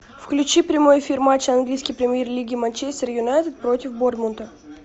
включи прямой эфир матча английской премьер лиги манчестер юнайтед против борнмута